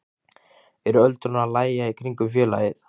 Er öldurnar að lægja í kringum félagið?